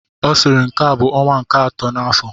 Ọ sịrị nke a bụ ọnwa nke akọ n'afọ!